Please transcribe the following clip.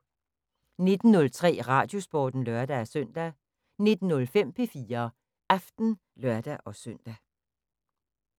19:03: Radiosporten (lør-søn) 19:05: P4 Aften (lør-søn)